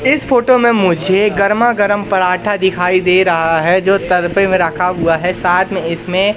इस फोटो में मुझे गरमा गरम पराठा दिखाई दे रहा है जो तरपे में रखा हुआ है साथ में इसमें--